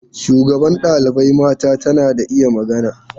Shugaban ɗalibai mata tana da iya magana.